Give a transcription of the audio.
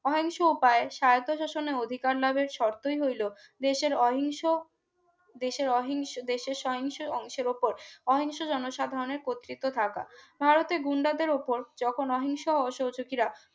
অহিংসা উপায়ে সারবে শাসনের অধিকার লাভের শর্তই হলো দেশের অহিংস দেশের অহিংস দেশের সহিংস অংশের উপর অহিংস জনসাধারণের কর্তিত থাকা ভারতের গুন্ডা দেড় উপর যখন অহিংস অসহযোগীরা